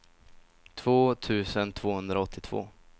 två tusen tvåhundraåttiotvå